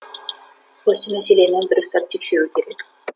осы мәселені дұрыстап тексеру керек